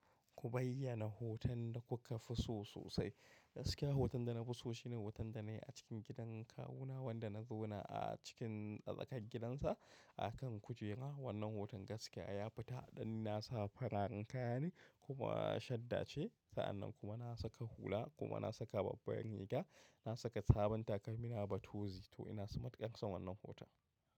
Ku bayyana hoton da kuka fi so sosai. Gaskiya hoton da nafiso shine hoton danayi a cikin gidan kawu na wanda na zauna a cikin a tsakar gidansa a kan kujera wannan hoton gaskiya ya fita dan na sa fararen kayane kuma shadda ce. Sa'annan kuma na saka hula kuma na saka babbar riga. Na saka sabon takalmi na batozi to ina so matuƙan san wannan hoton.